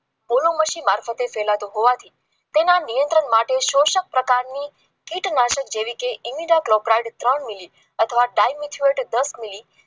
અથવા પચીસ મિલિયન લેખા નામની પાવડર ચાલીસ ના દસ લીટર પાણીમાં ઉમેરીને છંટકાવ કરવો વધુ ત્રણ મિનિટ માં ડાયમેલો ના